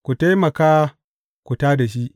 Ku taimaka, ku tā da shi.